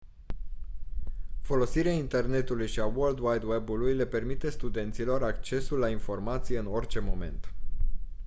folosirea internetului și a world wide web-ului le permite studenților accesul la informație în orice moment